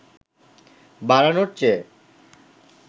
বাড়ানোর চেয়ে